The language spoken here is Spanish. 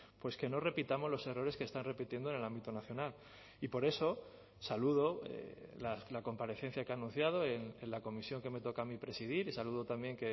pues que no repitamos los errores que están repitiendo en el ámbito nacional y por eso saludo la comparecencia que ha anunciado en la comisión que me toca a mí presidir y saludo también